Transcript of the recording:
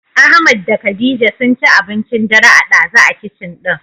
Ahmad da khadija sunci abincin dare a ɗazu a kicin ɗin.